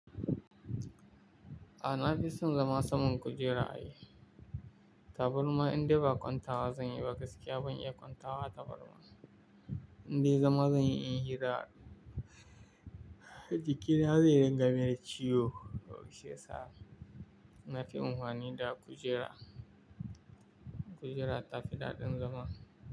A na fi son zama saman kujera ne. Tabarma in dai ba kwanta zan yi ba gaskiya ban iya kwanta wa tabarma. In dai zama zan yi in hira, jikina zai rinƙa min ciwo, duk shiyasa na fi amfani da kujera. Kujera ta fi daɗin zama.